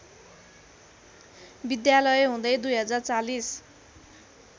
विद्यालय हुँदै २०४०